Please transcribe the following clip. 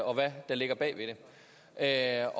og hvad der ligger bag ved det er